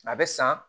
A bɛ san